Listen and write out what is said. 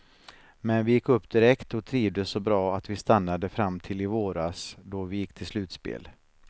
Men vi gick upp direkt och trivdes så bra att vi stannade fram till i våras då vi gick till slutspel.